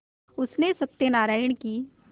उसने सत्यनाराण की